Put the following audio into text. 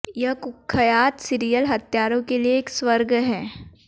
यह कुख्यात सीरियल हत्यारों के लिए एक स्वर्ग है